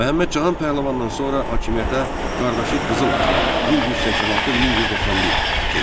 Məhəmməd Cahan Pəhləvandan sonra hakimiyyətə qardaşı Qızıl Arslan 1186-1191 keçdi.